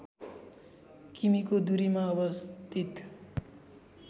किमि को दुरीमा अवस्थित